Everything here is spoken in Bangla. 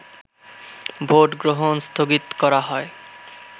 ভোটগ্রহণ স্থগিত করা হয়